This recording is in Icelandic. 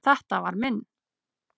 Þetta var minn.